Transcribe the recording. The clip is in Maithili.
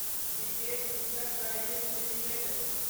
brigade Enterprises limited